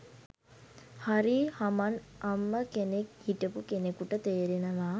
හරි හමන් අම්ම කෙනෙක් හිටපු කෙනෙකුට තේරෙනවා